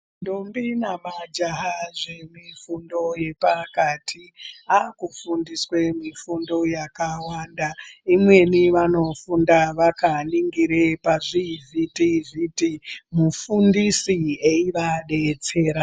Ndombi nemajaha zvemifundo yepakati, akufundiswe mifundo yakawanda, imweni vanofunda vakaningire pazvivhiti-vhiti, mufundisi eyiva detsera.